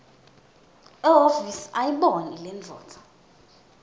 ehhovisi ayibone lendvodza